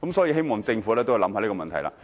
我希望政府會思考這個問題。